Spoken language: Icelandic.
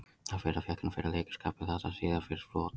Það fyrra fékk hann fyrir leikaraskap en það síðara fyrir brot.